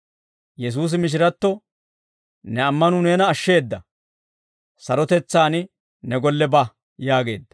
Yesuusi mishiratto, «Ne ammanuu neena ashsheeda, sarotetsaan ne golle ba» yaageedda.